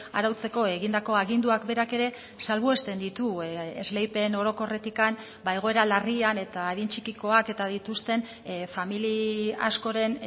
arautzeko egindako aginduak berak ere salbuesten ditu esleipen orokorretik egoera larrian eta adin txikikoak eta dituzten familia askoren